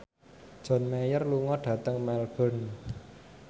John Mayer lunga dhateng Melbourne